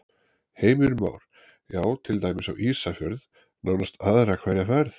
Heimir Már: Já, til dæmis á Ísafjörð nánast aðra hverja ferð?